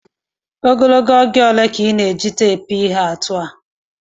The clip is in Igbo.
Ogologo oge ole ka ị na-eji teepu ihe atụ a?